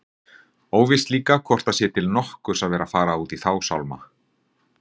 Óvíst líka hvort það sé til nokkurs að vera að fara út í þá sálma.